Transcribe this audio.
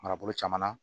Marabolo caman na